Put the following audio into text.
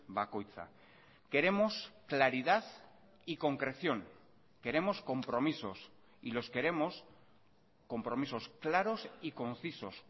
bakoitza queremos claridad y concreción queremos compromisos y los queremos compromisos claros y concisos